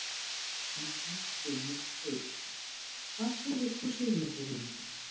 Magnús Hlynur Hreiðarsson: Hvað segir þú Sigurður Ingi?